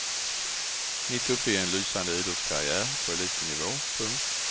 Mitt uppe i en lysande idrottskarriär på elitnivå. punkt